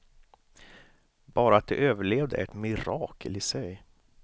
Bara att de överlevde är ett mirakel i sig.